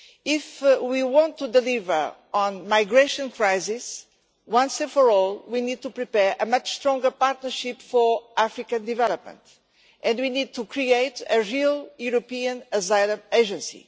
If we want to deliver on the migration crisis once and for all, we need to prepare a much stronger partnership for African development, and we need to create a real European asylum agency.